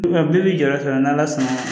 Wa bi jɔyɔrɔ sɔrɔ n'ala sɔnna